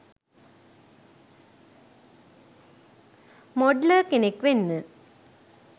Modeller කෙනෙක් වෙන්න.